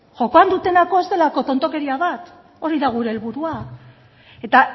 jokoan dutena ez delako tontakeria bat hori da gure helburua eta